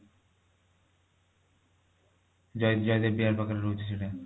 ଜଇ ଜୟଦେବ ବିହାର ପାଖରେ ରହୁଛି ସେଟା